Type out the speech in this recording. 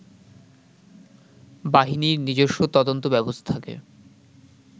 বাহিনীর নিজস্ব তদন্ত ব্যবস্থাকে